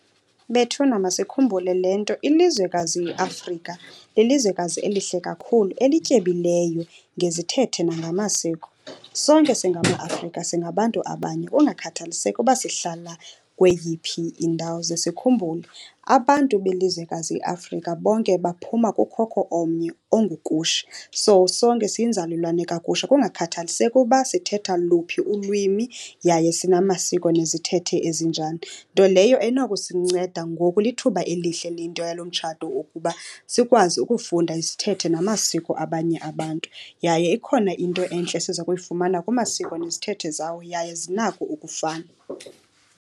Bethuna masikhumbule le nto, ilizwekazi iAfrika lilizwekazi elihle kakhulu, elityebileyo ngezithethe nangamasiko. Sonke singamaAfrika singabantu abanye kungakhathaliseki uba sihlala kweyiphi indawo. Ze sikhumbule abantu belizwekazi iAfrika bonke baphuma kukhokho omnye onguKush. So sonke siyinzalelwane kaKush kungakhathaliseki uba sithetha luphi ulwimi yaye sinamasiko nezithethe ezinjani, nto leyo enokusinceda. Ngoku lithuba elihle le nto yalo mtshato ukuba sikwazi ukufunda izithethe namasiko abanye abantu. Yaye ikhona into entle esiza kuyifumana kumasiko nezithethe zawo, yaye zinako ukufana.